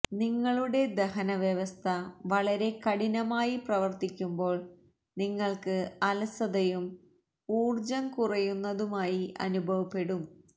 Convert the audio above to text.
നിങ്ങളുടെ ദഹനവ്യവസ്ഥ വളരെ കഠിനമായി പ്രവര്ത്തിക്കുമ്പോള് നിങ്ങള്ക്ക് അലസതയും ഊര്ജ്ജം കുറയന്നതുമായി അനുഭവപ്പെടും